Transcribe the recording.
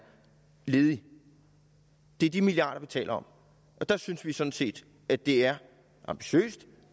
ledige det er de milliarder vi taler om og der synes vi sådan set at det er ambitiøst